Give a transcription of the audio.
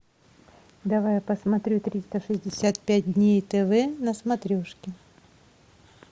давай я посмотрю триста шестьдесят пять дней тв на смотрешке